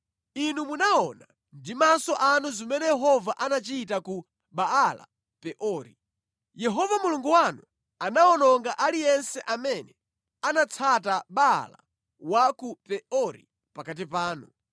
Inu munaona ndi maso anu zimene Yehova anachita ku Baala-Peori. Yehova Mulungu wanu anawononga aliyense amene anatsata Baala wa ku Peori pakati panu.